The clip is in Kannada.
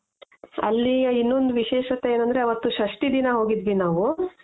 ಅಲ್ಲಿ ಇನ್ನೊಂದು ವಿಶೇಷತೆ ಏನ್ ಅಂದ್ರೆ ಅವತ್ತು ಷಷ್ಠಿ ದಿನ ಹೋಗಿದ್ವಿ ನಾವು .